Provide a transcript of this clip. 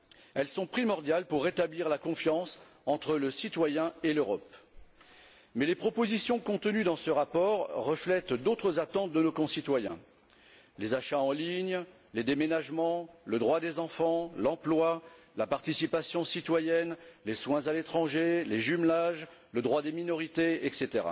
Elles sont primordiales pour rétablir la confiance entre le citoyen et l'Europe. Mais les propositions contenues dans ce rapport reflètent d'autres attentes de nos concitoyens les achats en ligne, les déménagements, le droit des enfants, l'emploi, la participation citoyenne, les soins à l'étranger, les jumelages, le droits des minorités, etc.